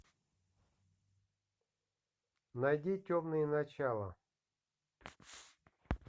найди темные начала